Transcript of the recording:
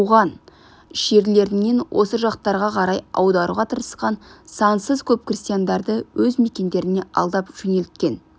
жерлерінен осы жақтарға қарай аударуға тырысқан сансыз көп крестьяндарды өз мекендерінен алдап жөнелткен